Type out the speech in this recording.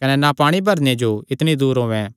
कने ना पाणी भरणे जो इतणी दूर औयें